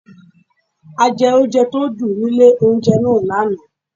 A jẹ oúnjẹ tó dùn nílé oúnjẹ náà lánáà